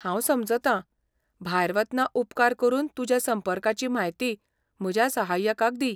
हांव समजता, भायर वतना उपकार करून तुज्या संपर्काची म्हायती म्हज्या सहाय्यकाक दी.